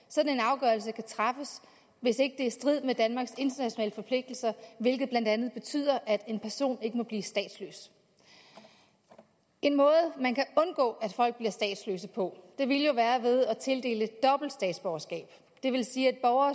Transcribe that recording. sådan en afgørelse kan træffes hvis ikke er i strid med danmarks internationale forpligtelser hvilket blandt andet betyder at en person ikke må blive statsløs en måde man kan undgå at folk bliver statsløse på ville jo være ved at tildele dobbelt statsborgerskab det vil sige at borgere